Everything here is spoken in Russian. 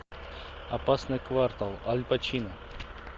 опасный квартал аль пачино